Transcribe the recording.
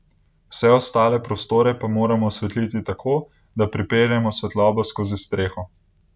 Vse ostale prostore pa moramo osvetliti tako, da pripeljemo svetlobo skozi streho.